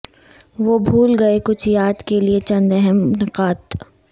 وہ بھول گئے کچھ یاد کیلئے چند اہم نکات